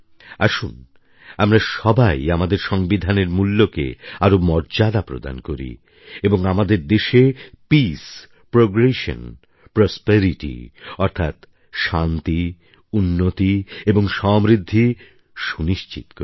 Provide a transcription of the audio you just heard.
আসুন আমরা সবাই আমাদের সংবিধানের মূল্যকে আরও মর্যাদা প্রদান করি এবং আমাদের দেশে পিস প্রোগ্রেশন প্রসপেরিটি অর্থাৎ শান্তি উন্নতি এবং সমৃদ্ধি সুনিশ্চিত করি